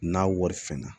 N'a wari fɛn na